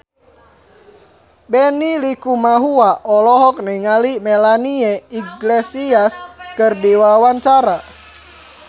Benny Likumahua olohok ningali Melanie Iglesias keur diwawancara